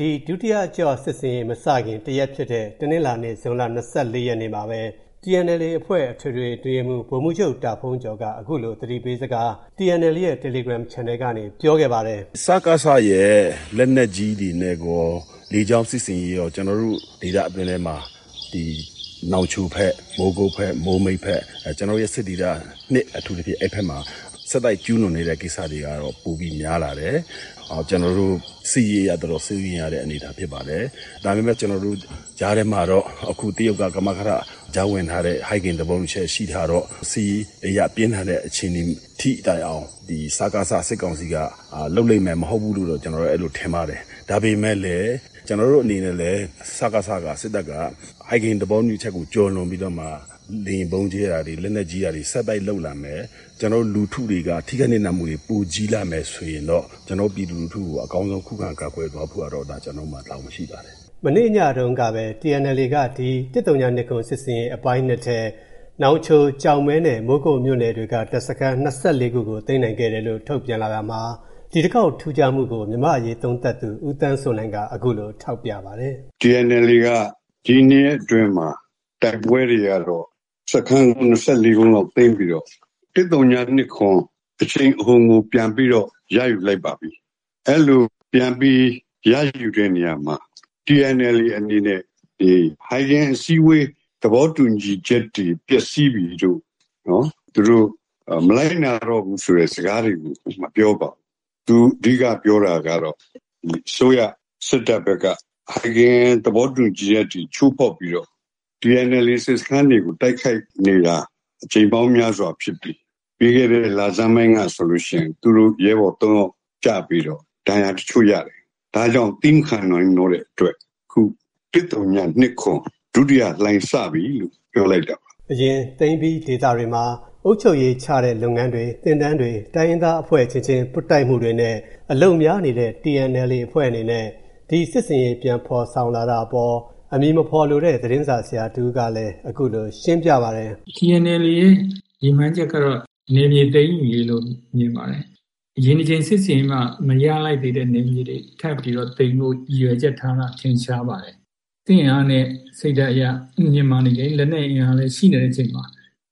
ဒီ ဒုတိယအကျော့ စစ်ဆင်ရေးမစခင် တရက်ဖြစ်တဲ့ တနင်္လာနေ့ ဇွန်လ ၂၄ ရက်မှာပဲ၊ TNLA အဖွဲ့ အထွေထွေ အတွင်းရေးမှူး ဗိုလ်မှူးချုပ် တာဘုန်းကျော်က TNLA ရဲ့ တယ်လီဂရမ်ချန်နယ်ကနေ သတိပေးစကားကို အခုလို ပြောခဲ့ပါတယ်။ "စကစရဲ့ လက်နက်ကြီးတွေနဲ့ကော လေကြောင်းစစ်ဆင်ရေးကော ကျနော်တို့ဒေသအတွင်းထဲမှာ နောင်ချိုဘက်၊ မိုးမိတ်ဘက်၊ မိုးကုတ်ဘက်- ကျနော်တို့ရဲ့စစ်ဒေသ အထူးသဖြင့် အဲဒီဘက်မှာ ဆက်တိုက်ကျူးလွန်နေတဲ့ကိစ္စတွေကတော့ ပိုပြီး များလာတယ်။ စစ်ရေးအရ တော်တော် စိုးရိမ်ရတဲ့အနေအထားဖြစ်ပါတယ်။ ဒါပေမဲ့ ကြားထဲမှာတော့ အခု တရုတ်က ကမကထ ကြားဝင်ထားတဲ့ ဟိုင်ဂင်သဘောတူညီချက်ရှိထားတော့ စစ်ရေးအရ ပြင်းထန်တဲ့အခြေအနေထိတိုင်အောင် စကစ စစ်ကောင်စီက လုပ်လိမ့်မယ် မဟုတ်ဘူးလို့တော့ ကျနော်ထင်ပါတယ်။ ဒါပေမဲ့လည်း ကျနော်တို့အနေနဲ့လည်း စကစ-က ၊ စစ်တပ်က ဟိုင်ဂင်သဘောတူညီချက်ကိုကျော်လွန်ပြီးတော့မှ လေယာဥ်ဗုံးကြဲတာတွေ၊ လက်နက်ကြီးပစ်တာတွေ ဆက်တိုက်လုပ်လာမယ်၊ လူထုတွေက ထိခိုက်နစ်နာမှုတွေ ပိုကြီးလာမယ်ဆိုရင်တော့ ပြည်သူလူထု ကို အကောင်းဆုံး ခုခံကာကွယ်သွားဖို့ကတော့ ကျနော်တို့မှာ တာဝန်ရှိပါတယ်။" မနေ့ညတုံးကပဲ TNLA က ဒီ ၁၀၂၇ စစ်ဆင်ရေးအပိုင်း ထဲ နောင်ချို၊ ကျောက်မဲ နဲ့ မိုးကုတ်မြို့နယ်တွေက တပ်စခန်း ၂၄ ခုကို သိမ်းနိုင်ခဲ့တယ်လို့ ထုတ်ပြန်လာတာမှာ ဒီတခေါက် ထူးခြားမှုကို မြန်မာ့အရေးသုံးသပ်သူ ဦးသန်းစိုးနိုင်က အခုလို ထောက်ပြပါတယ်။ "TNLA က ဒီနှစ်အတွင်းမှာ တိုက်ပွဲတွေကတော့ စခန်း ၂၄ လုံးလောက်သိမ်းပြီးတော့ ၁၀၂၇ အရှိန်အဟုန်ကို ပြန်ပြီးတော့ ရယူလိုက်ပါပြီ။ အဲလိုပြန်ပြီး ရယူတဲ့နေရာမှာ TNLA အနေနဲ့ ဟိုင်ဂင်အစည်းအဝေး သဘောတူညီချက်တွေ ပျက်စီးပြီလို့ - သူတို့ မလိုက်နာတော့ဘူးဆိုတဲ့စကားတွေကို မပြောပါဘူး။ သူအဓိကပြောတာက အစိုးရ စစ်တပ်ဘက်က ဟိုင်ဂင်သဘောတူညီချက်အထိ ချိုးဖောက်ပြီးတော့ TNLA စစ်စခန်းတွေကို တိုက်ခိုက်နေတာ အကြိမ်ပေါင်းများစွာဖြစ်ပြီး ပြီးခဲ့တဲ့လဆန်းပိုင်းကဆိုလို့ရှိရင် သူတို့ ရဲဘော်သုံးယောက်ကျပြီးတော့ ဒဏ်ရာတချို့ရတယ်။ ဒါကြောင့် သည်းမခံနိုင်တော့တဲ့အတွက် ၁၀၂၇ ဒုတိယလှိုင်းစပြီ-လို့ ပြောလိုက်တာပါ။" အရင် သိမ်းပြီးထားတဲ့ဒေသတွေမှာ အုပ်ချုပ်ရေးချတဲ့လုပ်ငန်းတွေ၊ သင်တန်းတွေ၊ တိုင်းရင်သားအဖွဲ့အချင်းချင်း ပွတ်တိုက်မှုတွေနဲ့ အလုပ်များနေခဲ့တဲ့ TNLA အဖွဲ့အနေနဲ့ ဒီ စစ်ဆင်ရေး ပြန်ဖော်ဆောင်လာတာအပေါ် အမည်မဖော်လိုတဲ့ သတင်းစာဆရာတဦးကလည်း အခုလို ရှင်းပြပါတယ်။ "TNLA ရဲ့ရည်မှန်းချက်က နယ်မြေသိမ်းယူရေးလို့ မြင်ပါတယ်။ အရင်စစ်ဆင်ရေးမှာ မရလိုက်သေးတဲ့နယ်မြေတွေကို ထပ်ပြီးတော့သိမ်းဖို့ ရည်ရွယ်ချက်ထားတာ ထင်ရှားပါတယ်။ စစ်အင်အားနဲ့စိတ်ဓာတ်အရ မြင့်မားနေတယ်၊ လက်နက်အင်အားလည်းရှိနေတဲ့အချိန်မှာ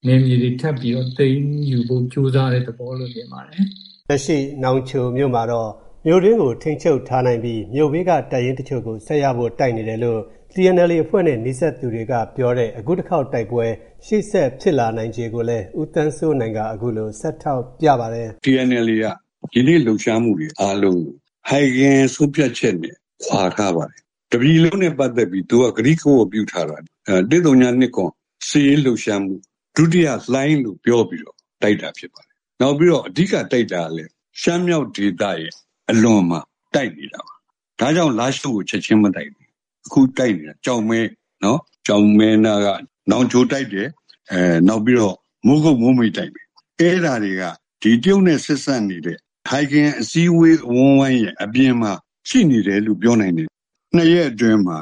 နယ်မြေတွေထပ်ပြီးတော့ သိမ်းယူဖို့ကြိုးစားတဲ့ သဘောလို့မြင်ပါတယ်။" လက်ရှိ နောင်ချိုမှာတော့ မြို့တွင်းကို ထိန်းချုပ်ထားနိုင်ပြီး မြို့ဘေးက တပ်ရင်းတချို့ကို ဆက်ရဖို့တိုက်နေတယ်လို့ TNLA အဖွဲ့နဲ့နီးစပ်သူတွေကပြောပါတယ်။ အခုတခေါက် တိုက်ပွဲ၊ ရှေ့ဆက်ဖြစ်လာနိုင်ခြေကိုလည်း ဦးသန်းစိုးနိုင်က အခုလို ဆက်ထောက်ပြပါတယ်။ "TNLA က ယနေ့လှုပ်ရှားမှုတွေ အားလုံးကို ဟိုင်ဂင် ဆုံးဖြတ်ချက်နဲ့ခွါထားပါတယ်။ တပြည်လုံးနဲ့ပတ်သက်ပြီး သူက ကတိကဝတ်ပြုထားပါတယ်။ ၁၀၂၇ စစ်ရေးလှုပ်ရှားမှု ဒုတိယလှိုင်း- လို့ ပြောပြီးတော့ တိုက်တာဖြစ်ပါတယ်။ နောက်ပြီးတော့ အဓိကတိုက်တာကလည်း ရှမ်းမြောက်ဒေသရဲ့အလွန်မှာတိုက်တယ်။ ဒါကြောင့် လားရှိုးကိုချက်ခြင်းမတိုက်တာ။ အခုတိုက်နေတာ ကျောက်မဲ၊ ကျောက်မဲနားက နောင်ချိုင်တိုက်တယ်၊ နောက်ပြီးတော့ မိုးကုတ်၊ မိုးမိတ်တိုက်မယ်။ အဲဒါတွေက တရုတ်နဲ့ဆက်စပ်နေတဲ့ ဟိုင်ဂင်အစည်းအဝေးအဝန်းအဝိုင်းရဲ့အပြင်မှာ ရှိနေတယ်လို့ ပြောနိုင်တယ်။ နှစ်ရက်အတွင်းမှာ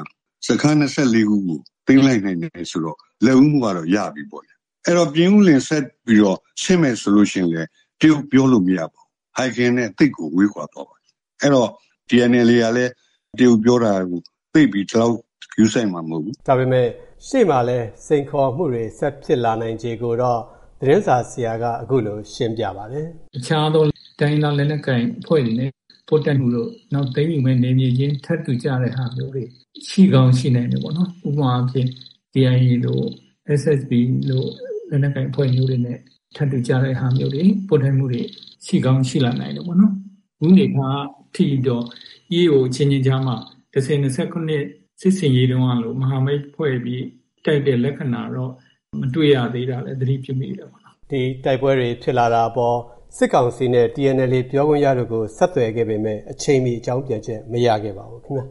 စခန်း ၂၄ ခုကို သိမ်းလိုက်နိုင်တယ်ဆိုတော့ လက်ဦးမှုကတော့ ရပြီပေါ့ဗျာ။ အဲဒီတော့ ပြင်ဦးလွင်ကိုဆက်ပြီးတော့ဆင်းမယ်ဆိုလို့ရှိရင်လည်း တရုတ်ပြောလို့မရဘူး။ ဟိုင်ဂင်နဲ့သိပ်ကို ဝေးကွာသွားမှာ။ အဲဒီတော့ TNLA ကလည်း တရုတ်ပြောတာကို သိပ်ပြီး ဂရုစိုက်မှာမဟုတ်ဘူး။" ဒါပေမဲ့ ရှေ့မှာရှိနေတဲ့ စိန်ခေါ်မှုတွေနဲ့ ဆက်ဖြစ်လာနိုင်ခြေတွေကိုတော့ သတင်းစာဆရာက အခုလို ဆက်ရှင်းပြပါတယ်။ "တခြားသော တိုင်းရင်းသားလက်နက်ကိုင်အဖွဲ့တွေနဲ့ပွတ်တိုက်မှုတို့၊ နောက် သိမ်းယူမယ့်နယ်မြေချင်းထပ်ထူကျတဲ့ဟာမျိုးတွေ ရှိကောင်းရှိနိုင်တယ်ပေါ့နော်။ ဥပမာအားဖြင့် KIA တို့၊ SSPP တို့လို လက်နက်ကိုင်အဖွဲ့မျိုးတွေနဲ့ထပ်တူကျတဲ့ဟာမျိုးတွေ၊ ပွတ်တိုက်မှုတွေ ရှိကောင်းရှိလာနိုင်တယ်ပေါ့နော်။ အခုနေမှာ ....EAO အချင်းချင်းကြားမှာ ၁၀၂၇ စစ်ဆင်ရေးတုန်းကလို မဟာမိတ်ဖွဲ့ပြီး တိုက်တဲ့လက္ခဏာတော့ မတွေ့ရသေးတာလည်း သတိပြုမိတယ်ပေါ့နော်။" ဒီ တိုက်ပွဲတွေ ဖြစ်လာတာအပေါ် စစ်ကောင်စီ နဲ့ TNLA ပြောခွင့်ရတို့ကို ဆက်သွယ်ခဲ့ပေမဲ့ အချိန်မီ အကြောင်းပြန်ချက် မရခဲ့ပါဘူး ခင်ဗျ